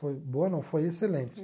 Foi boa, não, foi excelente.